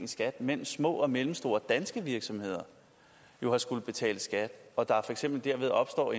i skat mens små og mellemstore danske virksomheder har skullet betale skat derved opstår